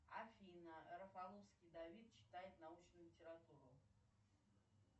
афина рафаловский давид читает научную литературу